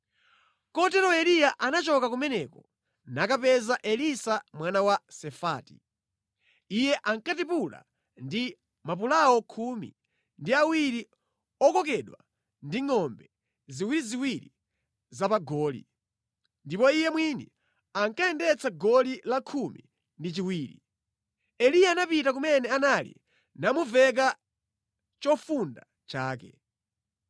Kotero Eliya anachoka kumeneko, nakapeza Elisa mwana wa Safati. Iye ankatipula ndi mapulawo khumi ndi awiri okokedwa ndi ngʼombe ziwiriziwiri zapamagoli, ndipo iye mwini ankayendetsa goli la khumi ndi chiwiri. Eliya anapita kumene anali namuveka chofunda chake.